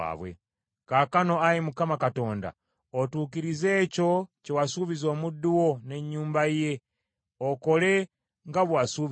“Kaakano, Ayi Mukama Katonda, otuukirize ekyo kye wasuubiza omuddu wo n’ennyumba ye okole nga bwe wasuubiza,